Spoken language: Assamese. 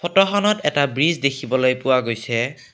ফটোখনত এটা ব্ৰিজ দেখিবলৈ পোৱা গৈছে।